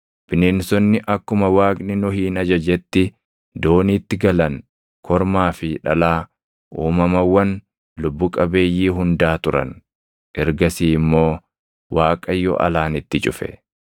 Bineensonni akkuma Waaqni Nohin ajajetti dooniitti galan kormaa fi dhalaa uumamawwan lubbu qabeeyyii hundaa turan; ergasii immoo Waaqayyo alaan itti cufe.